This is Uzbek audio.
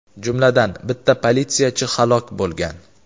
jumladan bitta politsiyachi halok bo‘lgan.